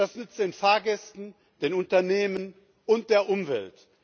Das nützt den Fahrgästen, den Unternehmen und der Umwelt.